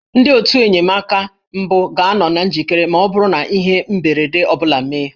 Ndị otù enyemaka mbụ ga-anọ na njikere ma ọ bụrụ na ihe mberede ọ bụla emee